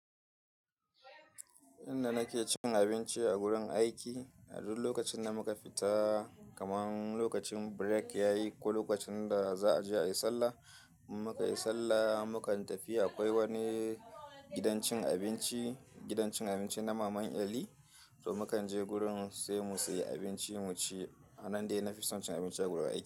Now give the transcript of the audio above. Inda nake cin abinci a gurin aiki, a duk lokacin da muka fita, kamar lokacin break yayi ko lokacin da za a je a yi sallah, in muka yi sallah, mukan tafi akwai wani gidan cin abinci, gidan cin abinci na Maman Eli, to mukan je gurin sai mu sayi abinci mu ci. A nan dai na fi son cin abinci a gurin aiki.